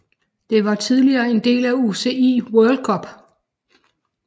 Det var tidligere en del af UCI World Cup